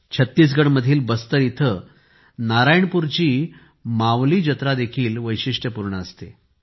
छत्तीसगडमधील बस्तर येथे नारायणपूरची मावली जत्रा देखील वैशिष्ट्यपूर्ण असते